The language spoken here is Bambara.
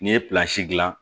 N'i ye dilan